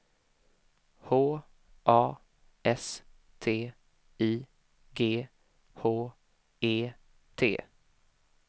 H A S T I G H E T